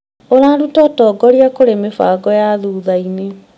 ũraruta ũtongoria kũrĩ mĩbango ya thutha-inĩ.